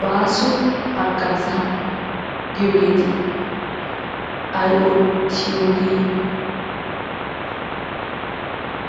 Baaso haggazaa giyoogeeti ay oottiyogee?